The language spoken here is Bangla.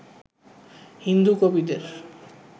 হিন্দু কবিদের